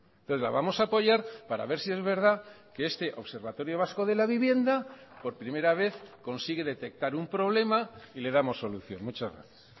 entonces la vamos a apoyar para ver si es verdad que este observatorio vasco de la vivienda por primera vez consigue detectar un problema y le damos solución muchas gracias